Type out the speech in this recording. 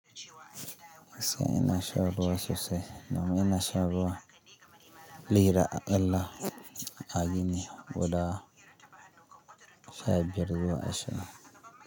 Asya ina sha ruwa sosai. Namu ina sha ruwa liyara, Allah ya gina guda sha biyar ruwa ashe.